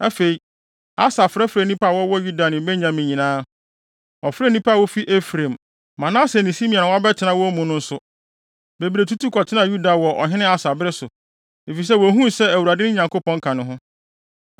Afei, Asa frɛfrɛɛ nnipa a wɔwɔ Yuda ne Benyamin nyinaa. Ɔfrɛɛ nnipa a wofi Efraim, Manase ne Simeon a wɔabɛtena wɔn mu no nso. Bebree tutu kɔtenaa Yuda wɔ Ɔhene Asa bere so, efisɛ wohuu sɛ Awurade, ne Nyankopɔn, ka ne ho.